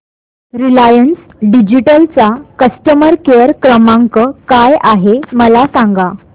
Reliance Digital चा customer care क्रमांक काय आहे मला सांगा